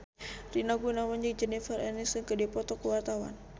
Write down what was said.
Rina Gunawan jeung Jennifer Aniston keur dipoto ku wartawan